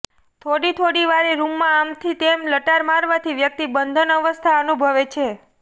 થોડી થોડી વારે રૂમમાં આમથી તેમ લટાર મારવાથી વ્યક્તિ બંધનઅવસ્થા અનુભવે છે